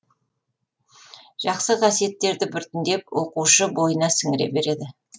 жақсы қасиеттерді біртіндеп оқушы бойына сіңіре береді